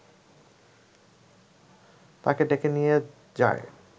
তাকে ডেকে নিয়ে যায়